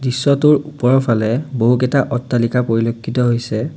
দৃশ্যটোৰ ওপৰফালে বহুকেইটা অট্টালিকা পৰিলক্ষিত হৈছে।